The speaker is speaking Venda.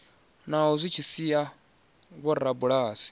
naho zwi tshi sia vhorabulasi